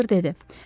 doktor dedi.